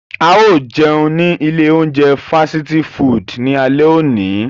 Ao jeun ni ile ounjẹ fasiti fudu ni ale oni.